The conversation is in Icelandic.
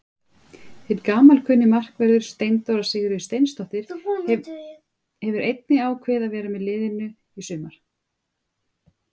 Hinn gamalkunni markvörður Steindóra Sigríður Steinsdóttir hefur einnig ákveðið að vera með liðinu í sumar.